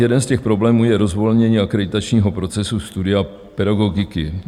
Jeden z těch problémů je rozvolnění akreditačního procesu studia pedagogiky.